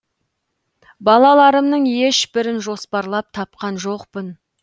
балаларымның ешбірін жоспарлап тапқан жоқпын